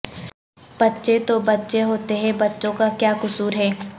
بچے تو بچے ہوتے ہیں بچوں کا کیا قصور ہے